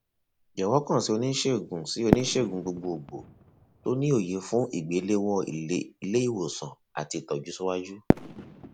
jọwọ kàn sí oniṣegun sí oniṣegun gbogbogbò tó ni òye fun igbelewọn ileiwosan ati itọju siwaju